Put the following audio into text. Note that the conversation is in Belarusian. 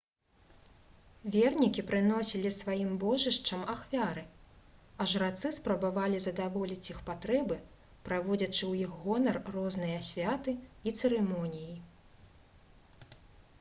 вернікі прыносілі сваім божышчам ахвяры а жрацы спрабавалі задаволіць іх патрэбы праводзячы ў іх гонар розныя святы і цырымоніі